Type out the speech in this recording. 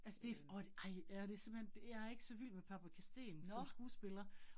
Altså det åh, ej ja det simpelthen, det jeg ikke så vild med Paprika Steen som skuespiller